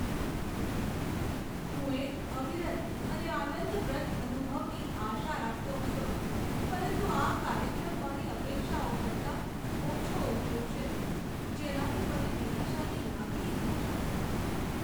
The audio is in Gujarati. હું એક અવિરત અને આનંદપ્રદ અનુભવની આશા રાખતો હતો, પરંતુ આ કાર્યક્રમ મારી અપેક્ષાઓ કરતાં ઓછો ઉતર્યો છે, જેનાથી મને નિરાશાની લાગણી થઈ છે.